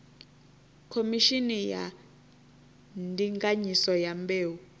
khomishini ya ndinganyiso ya mbeu